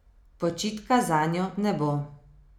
Počitka zanjo ne bo.